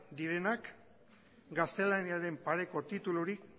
direnak gaztelaniaren pareko titulurik